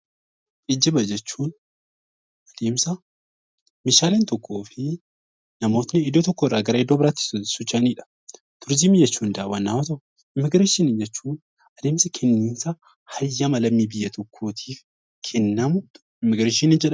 Geejjiba jechuun adeemsa meeshaaleen tokkoo fi namoonni iddoo tokkorraa gara iddoo biraatti socho'anidha. Turizimii jedhuun daawwannaa waan tokkoodha. Immiigireeshinii jechuun akkaataa adeemsa kennama heeyyama lammii biyya tokkootiif kennamu immiigireeshinii jedhama.